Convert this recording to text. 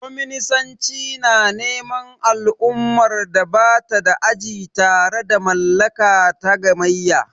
Kwaminisanci na neman al'ummar da ba ta da aji tare da mallaka ta gamayya.